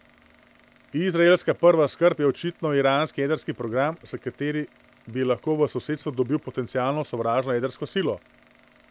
Izraelska prva skrb je očitno iranski jedrski program, s kateri bi lahko v sosedstvu dobil potencialno sovražno jedrsko silo.